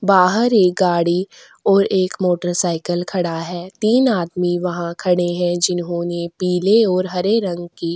बाहर एक गाड़ी और एक मोटरसाइकल खड़ा है तीन आदमी वहाँ खड़े हैं जिन्होंने पीले और हरे रंग की --